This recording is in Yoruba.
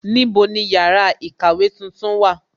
Níbo ni yàrá ìkàwé tuntun wà?